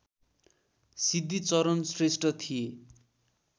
सिद्धिचरण श्रेष्ठ थिए